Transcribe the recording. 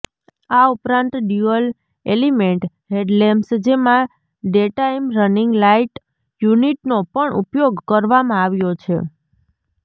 આ ઉપરાંત dual element headlamps જેમાં ડેટાઇમ રનિંગ લાઇટ યુનિટનો પણ ઉપયોગ કરવામાં આવ્યો છે